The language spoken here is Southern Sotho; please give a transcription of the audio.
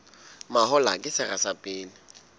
mahola ke sera sa pele